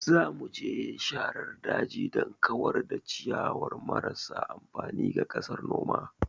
Za mu je sharar daji don kawar da ciyayi marasa amfani ga ƙasar noma.